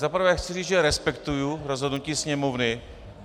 Za prvé chci říct, že respektuji rozhodnutí Sněmovny.